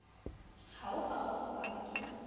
ha o sa kgotsofala ke